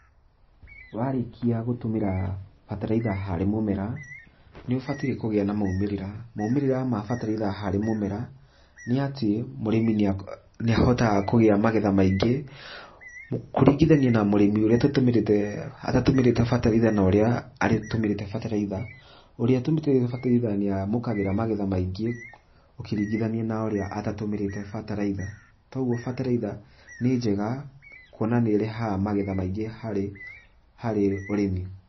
Warĩkia gũtũmĩra bataraitha harĩ mũmera, nĩũbatiĩ kũgĩa na maumĩrĩra. Maumĩrĩra ma bataraitha harĩ mũmera, nĩatĩ mũrĩmi nĩahotaga kũgĩa magetha maingĩ. Kũringithania na mũrĩmi ũrĩa atatatũmĩrĩte bataraitha na ũrĩa atũmĩrĩte bataraitha, ũrĩa ũtũmĩrĩte bataraitha nĩamukagĩra magetha maingĩ, ũkĩringithania na ũrĩa atatũmĩrĩte bataraitha. Ta ũguo bataraitha nĩ njega, kuona nĩ ĩrehaga magetha maingĩ harĩ, harĩ ũrĩmi.